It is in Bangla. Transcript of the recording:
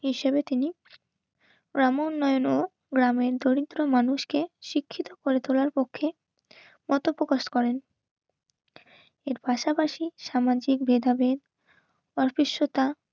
হিসাবে তিনি গ্রাম উন্নয়ন ও গ্রামের দরিদ্র মানুষকে শিক্ষিত করে তোলার পক্ষে মতপ্রকাশ করেন. উম এর পাশাপাশি সামাজিক ভেদাভেদ অস্পৃশ্যতা,